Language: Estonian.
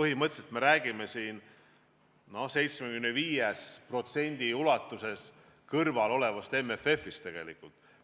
Põhimõtteliselt räägime me siin 75% ulatuses kõrval olevast MFF-ist,